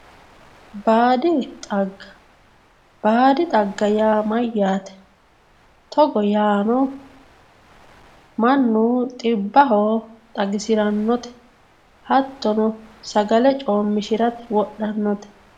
baadi xagga baadi xagga yaa mayyaate? togo yaano mannu xibbaho xagisirannote hattono sagale coommishirate wodhannote